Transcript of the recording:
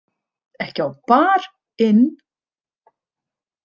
Ekki á Bar- inn?